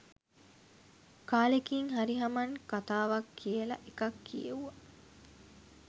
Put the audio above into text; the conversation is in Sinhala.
කාලෙකින් හරි හමන් කතාවක් කියලා එකක් කියෙව්වා